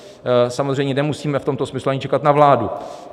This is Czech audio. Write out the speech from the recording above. Samozřejmě nemusíme v tomto smyslu ani čekat na vládu.